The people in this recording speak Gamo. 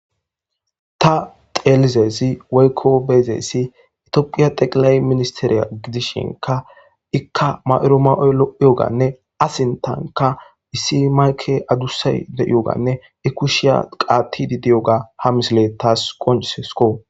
Ta xelizayssi woykko beizayssi itiyophiya teqilaye ministeriya gidishinka ikka mayido ma7oy looiyoganne a sintanka issi mayke adusay deiyoganne i kushiya qaatti didiyoga ha missiley taasi qoncisesiko.